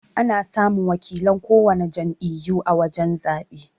Ana samun wakilan kowana jam'iyyu a wajan zabe.